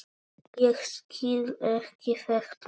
Ég skil ekki þetta mein.